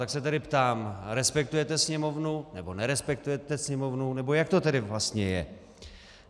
Tak se tedy ptám: Respektujete Sněmovnu, nebo nerespektujete Sněmovnu, nebo jak to tedy vlastně je?